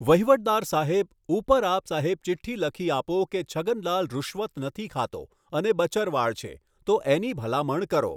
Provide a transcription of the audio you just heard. વહીવટદાર સાહેબ ઉપર આપ સાહેબ ચિઠ્ઠી લખી આપો કે છગનલાલ રૂશ્વત નથી ખાતો અને બચરવાળ છે, તો એની ભલામણ કરો.